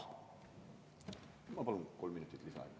Ma palun kolm minutit lisaaega.